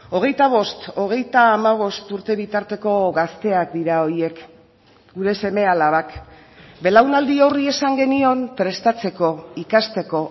hogeita bost hogeita hamabost urte bitarteko gazteak dira horiek gure seme alabak belaunaldi horri esan genion prestatzeko ikasteko